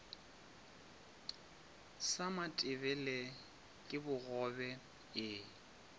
sa matebele ke bogobe e